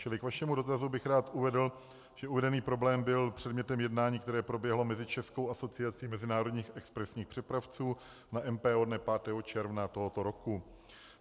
Čili k vašemu dotazu bych rád uvedl, že uvedený problém byl předmětem jednání, které proběhlo mezi Českou asociací mezinárodních expresních přepravců na MPO dne 5. června tohoto roku.